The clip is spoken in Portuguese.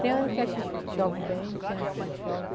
Tem ano que chove bem, tem ano que não chove.